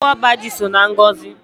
Nnukwu ọba ji so na ngọzị